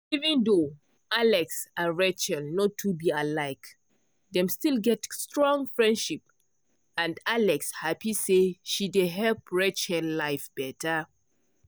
even though alex and rachel no too be alike dem still get strong friendship and alex happy say she dey help rachel life better.